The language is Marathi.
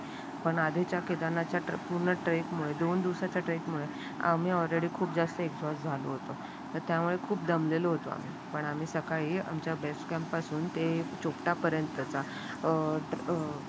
पण आधीच्या केदारनाथच्या पूर्ण ट्रेक मधून दोन दिवसाचे ट्रेक मुळे आम्ही ऑलरेडी खूप जास्त एक्झॉस्टले होते. त्यामुळे खूप दमलेले होतो आम्ही पण आम्ही सकाळी आमच्या बेस काम पासून ते चोपटा पर्यंतचा अं